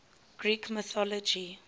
greek mythology